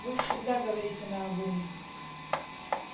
вы всегда говорите наобум